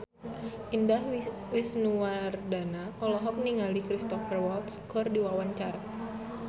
Indah Wisnuwardana olohok ningali Cristhoper Waltz keur diwawancara